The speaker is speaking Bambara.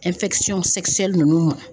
nunnu ma.